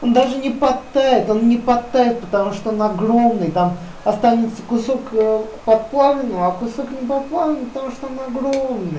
даже не подтает он не подтает потому что он огромный там останется кусок под плавленого кусок не под плавленого потому что он огромный